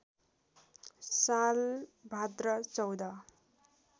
साल भाद्र १४